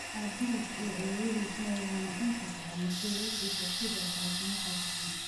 Aabihiis iyo ayeeyadii mooyaane, inta badan mas’uuliyiintiisa sidoo kale kuma kalsoona.